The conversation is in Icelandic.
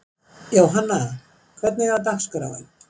Jóhanna, hvernig er dagskráin?